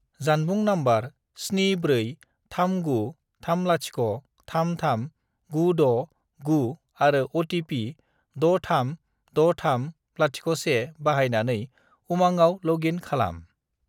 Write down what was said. जानबुं नम्बर 74393033969 आरो अ.टि.पि. 636301 बाहायनानै उमांआव लग इन खालाम।